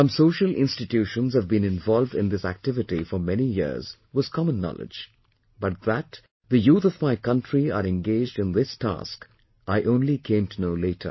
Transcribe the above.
Some social institutions have been involved in this activity for many years was common knowledge, but the youth of my country are engaged in this task, I only came to know later